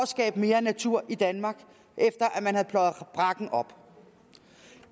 skabe mere natur i danmark efter man har pløjet brakken op